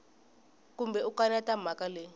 kumbe u kaneta mhaka leyi